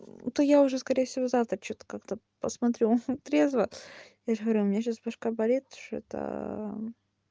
это я уже скорее всего завтра что-то как-то посмотрю он трезво я же говорю у меня сейчас башка болит что-то